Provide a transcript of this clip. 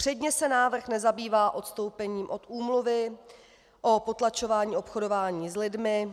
Předně se návrh nezabývá odstoupením od úmluvy o potlačování obchodování s lidmi,